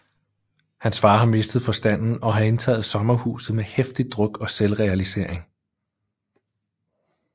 Hans far har mistet forstanden og har indtaget sommerhuset med heftig druk og selvrealisering